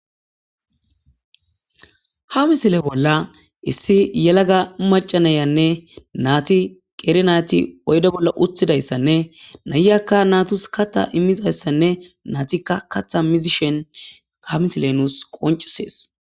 Ha misile bolla issi yelaga macca nayiyaanne naathi qeeri naathi oyde bolla uththidayssanne nayiyakka naathus kaththa immizayssanne naathikka kaththa mizishen misile nuus qonccissees.